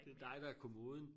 Det dig der er kommoden